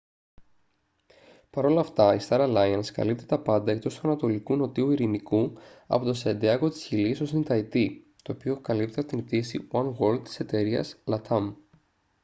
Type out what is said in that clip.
παρόλ' αυτά η star alliance καλύπτει τα πάντα εκτός του ανατολικού νότιου ειρηνικού από το σαντιάγκο της χιλής ως την ταϊτή το οποίο καλύπτεται από την πτήση oneworld της εταιρείας latam